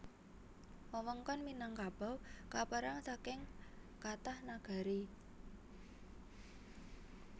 Wewengkon Minangkabau kapérang saking kathah nagari